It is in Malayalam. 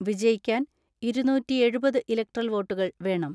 വിജയിക്കാൻ ഇരുന്നൂറ്റിഎഴുപത് ഇലക്ട്രൽ വോട്ടുകൾ വേണം.